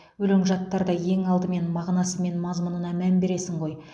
өлең жаттарда ең алдымен мағынасы мен мазмұнына мән бересің ғой